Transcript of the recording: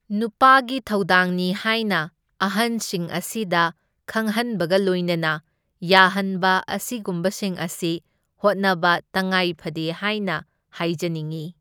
ꯅꯨꯄꯥꯒꯤ ꯊꯧꯗꯥꯡꯅꯤ ꯍꯥꯏꯅ ꯑꯍꯟꯁꯤꯡ ꯑꯁꯤꯗ ꯈꯪꯍꯟꯕꯒ ꯂꯣꯏꯅꯅ ꯌꯥꯍꯟꯕ ꯑꯁꯤꯒꯨꯝꯕꯁꯤꯡ ꯑꯁꯤ ꯍꯣꯠꯅꯕ ꯇꯉꯥꯏ ꯐꯗꯦ ꯍꯥꯏꯅ ꯍꯥꯏꯖꯅꯤꯡꯢ꯫